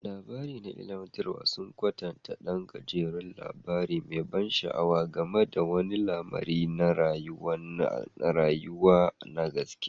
Labari na ilimantarwa sun kwatanta ɗan gajeren labari mai ban sha'awa game da wani lamari na rayuwa na gaske.